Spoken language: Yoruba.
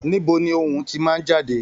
Níbo ni ohùn tí màá n jáde?